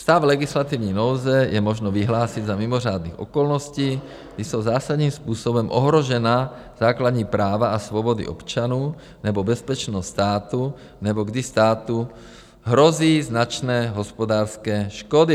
Stav legislativní nouze je možno vyhlásit za mimořádných okolností, kdy jsou zásadním způsobem ohrožena základní práva a svobody občanů nebo bezpečnost státu nebo kdy státu hrozí značné hospodářské škody.